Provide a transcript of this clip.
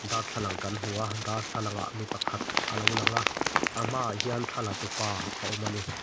darthlalang kan hmu a darthlalangah mi pakhat a lo lang a a hmaah hian thla la tupa a awm a ni.